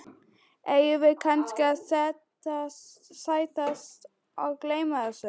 Eigum við kannski að sættast og gleyma þessu?